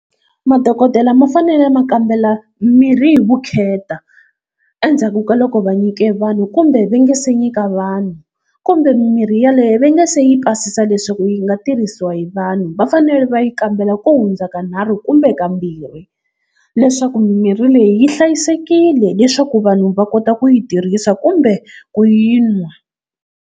Madokodela ma fanele ma kambela mirhi hi vukheta, endzhaku ka loko va nyike vanhu kumbe va nge se nyika vanhu kumbe mimirhi yaleyo va nga se yi pasisa leswaku yi nga tirhisiwa hi vanhu. Va fanele va yi kambela ku hundza kanharhu kumbe kambirhi leswaku mimirhi leyi yi hlayisekile leswaku vanhu va kota ku yi tirhisa kumbe ku yi nwa.